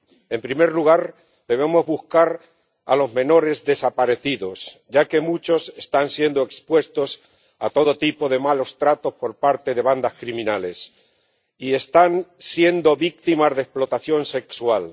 En primer lugar, debemos buscar a los menores desaparecidos, ya que muchos están siendo expuestos a todo tipo de malos tratos por parte de bandas criminales y están siendo víctimas de explotación sexual.